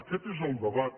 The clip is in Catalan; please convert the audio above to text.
aquest és el debat